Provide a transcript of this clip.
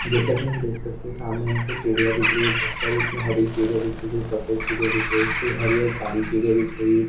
जैसा की हम देख सकते सामने हमको चिड़िया दिख रही है बहुत सारी इसमे हरी चिड़िया दिख रही कोई सफ़ेद चिड़िया दिख रही कोई हरी और काली चिड़िया दिख रही है।